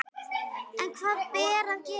En hvað ber að gera?